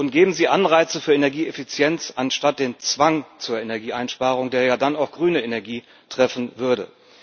Geben Sie Anreize für Energieeffizienz anstatt den Zwang zur Energieeinsparung, der dann auch grüne Energie treffen würde.